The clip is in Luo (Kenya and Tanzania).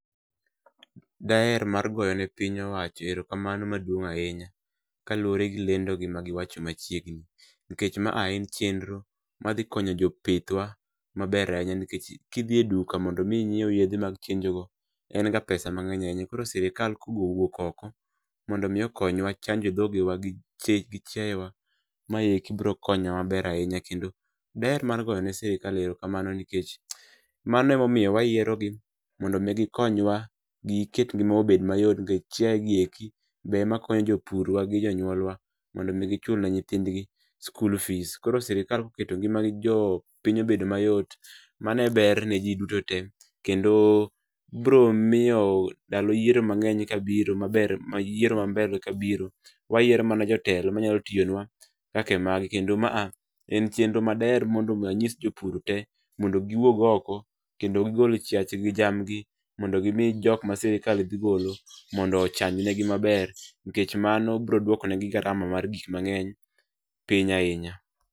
Daher mar goyone piny owacho erokamano maduong' ahinya kaluwore gi lendo gi ma giwacho machiegni. Nikech maa en chenro ma dhi konyo jopithwa maber ahinya, nikech kidhi e duka mondo omi inyiew yedhe mag chenjo go en ga pesa mangény ahinya. Koro sirkal ka ogo wuok oko mondo omi okonywa chanjo dhogewagi gi chiae wa, maeki biro konyowa maber ahinya. Kendo daher mar goyone sirkal erokamano, nikech, mano ema omiyo wayierogi. Mondo omi gikonywa, giket gikmoko obed mayot, nikech, chiae gi eki be ema konyo jopurwa gi jonyuolwa mondo omi gichul ne nyithindgi sikul fees. Koro sirkal koketogi magijowo piny obedo mayot, mano e ber ne ji duto te. Kendo biro miyo ndalo yiero mangény ka biro, maber, yiero mambele ka biro, wayiero mana jotelo manayalo tiyonwa kaka magi. Kendo maa, en chenro madaher mondo omi anyis jopur te mondo gi wuog oko, kendo gigol chiachgi, gi jamgi, mondo gi mi jokma sirkal dhi golo, mondo ochanjnegi maber. Nikech mano biro duoko negi garama mar gik mangény piny ahinya.